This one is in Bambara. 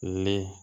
Ni